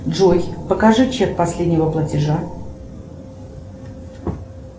джой покажи чек последнего платежа